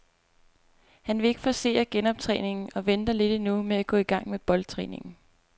Han vil ikke forcere genoptræningen og venter lidt endnu med at gå i gang med boldtræningen.